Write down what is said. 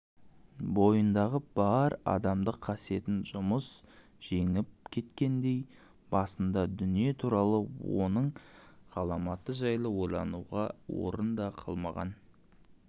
бойындағы бар адамдық қасиетін жұмыс жеңіп кеткендей басында дүние туралы оның ғаламаты жайлы ойлануға орын да қалмаған